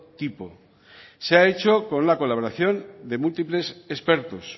tipo se ha hecho con la colaboración de múltiples expertos